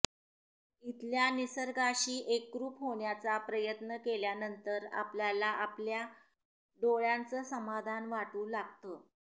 इथल्या निसर्गाशी एकरूप होण्याचा प्रयत्न केल्यानंतर आपल्याला आपल्या डोळ्यांचं समाधान वाटू लागतं